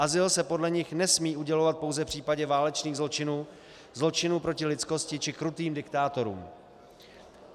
Azyl se podle nich nesmí udělovat pouze v případě válečných zločinů, zločinů proti lidskosti či krutým diktátorům.